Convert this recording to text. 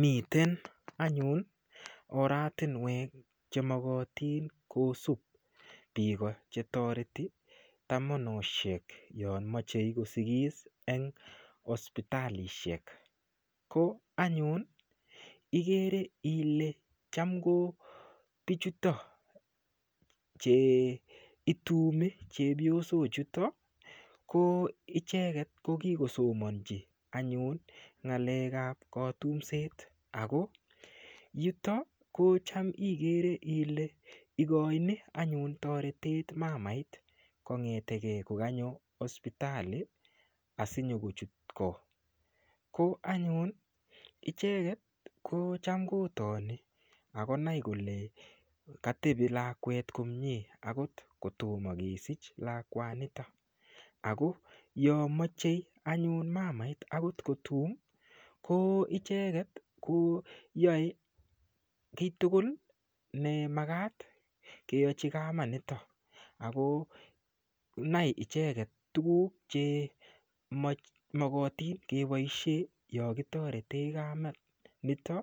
Miten anyun oratinwek chemokotin kosup biiko chetoreti tomonoshek yo mochei kosikis eng hospitalishek ko anyun igere ile cham ko bichuto che itumi chepyosok chuto ko icheket ko kokisomonchi anyun ng'alek ap kotumset ako yuto ko cham igere ile ikoini anyun toretet mamait kongeteke kokanyo hospitali asikonyokochut ko ko anyun icheket ko cham kotini akonai kole katebi lakwet komie akot kotomo kesich lakwanita ako yo mochei anyun mamait kotum ko icheket ko yoe kiytugul ne magat keyochi kamat nito ako nai icheket tukuk chemokotin keboishe yo kitorete kamet nito